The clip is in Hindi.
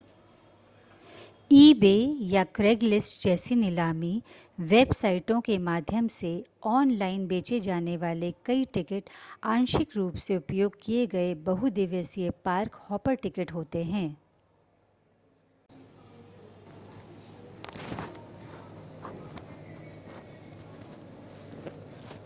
ईबे या क्रेगलिस्ट जैसी नीलामी वेबसाइटों के माध्यम से ऑनलाइन बेचे जाने वाले कई टिकट आंशिक रूप से उपयोग किए गए बहु-दिवसीय पार्क-हॉपर टिकट होते हैं